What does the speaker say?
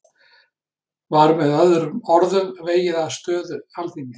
Var með öðrum orðum vegið að stöðu Alþingis?